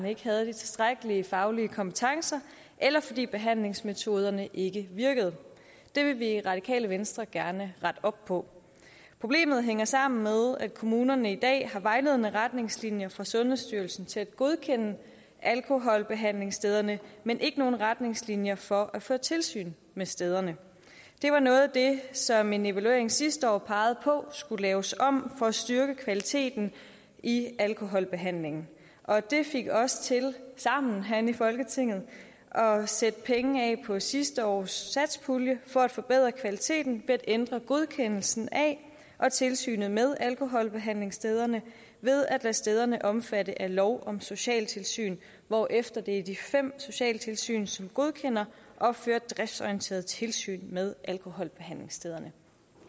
ikke havde de tilstrækkelige faglige kompetencer eller fordi behandlingsmetoderne ikke virkede det vil vi i radikale venstre gerne rette op på problemet hænger sammen med at kommunerne i dag har vejledende retningslinjer fra sundhedsstyrelsen til at godkende alkoholbehandlingsstederne men ikke nogen retningslinjer for at føre tilsyn med stederne det var noget af det som en evaluering sidste år pegede på skulle laves om for at styrke kvaliteten i alkoholbehandlingen og det fik os til sammen herinde i folketinget at sætte penge af på sidste års satspulje for at forbedre kvaliteten ved at ændre godkendelsen af og tilsynet med alkoholbehandlingsstederne ved at lade stederne omfatte af lov om socialtilsyn hvorefter der i de fem socialtilsyn som godkender opføres driftsorienteret tilsyn med alkoholbehandlingsstederne